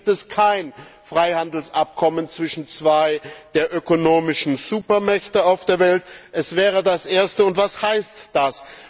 Bis jetzt gibt es kein Freihandelsabkommen zwischen zwei der ökonomischen Supermächte der Welt, dies wäre das erste und was heißt das?